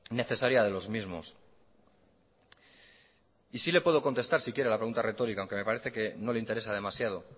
necesaria de los mismos y sí le puedo contestar si quiere a la pregunta retórica aunque me parece que no le interesa demasiado